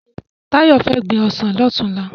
Tayo fè gbin òsán lòtúnlá